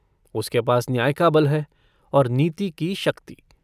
उसके पास न्याय का बल है और नीति की शक्ति।